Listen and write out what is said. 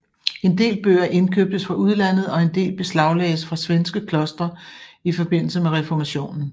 En del bøger indkøbtes fra udlandet og en del beslaglagdes fra svenske klostre i forbindelse med reformationen